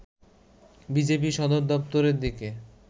বিজেপির সদর দপ্তরের দিকে